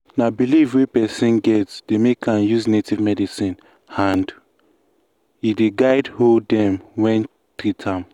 na belief wey person get dey make am use native medicine and e dey guide hoe dem wan treat am.